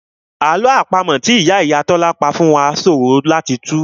Àlọ́ àpamọ́ náà tí ìyá àwọn òbí Tọ́lá pa fún wá ṣòro láti tù